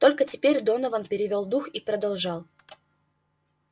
только теперь донован перевёл дух и продолжал